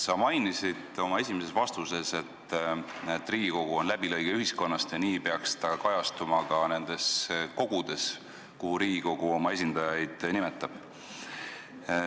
Sa märkisid oma esimeses vastuses, et Riigikogu on läbilõige ühiskonnast ja see peaks kajastuma ka nendes kogudes, kuhu Riigikogu oma esindajaid nimetab.